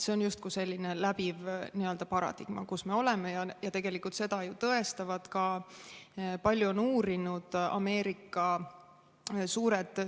See on justkui selline läbiv paradigma, kus me oleme, ja tegelikult seda on palju uurinud ja tõestanud ka Ameerika suured ettevõtted.